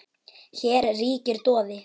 Hér ríkir doði.